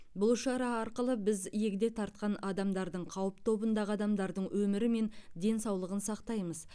бұл шара арқылы біз егде тартқан адамдардың қауіп тобындағы адамдардың өмірі мен денсаулығын сақтаймыз